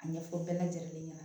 A ɲɛfɔ bɛɛ lajɛlen ɲɛna